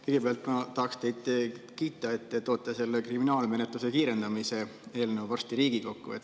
Kõigepealt ma tahaksin teid kiita, et te toote kriminaalmenetluse kiirendamise eelnõu varsti Riigikokku.